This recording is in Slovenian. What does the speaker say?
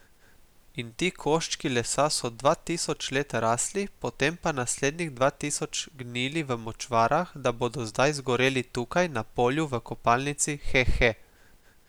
In ti koščki lesa so dva tisoč let rasli, potem pa naslednjih dva tisoč gnili v močvarah, da bodo zdaj zgoreli tukaj, na polju, v kopalnici, he he!